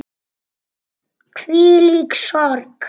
Hvílík sorg.